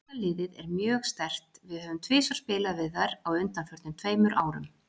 Danska liðið er mjög sterkt, við höfum tvisvar spilað við þær á undanförnum tveimur árum.